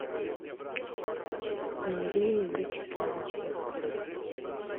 мария вячеславовна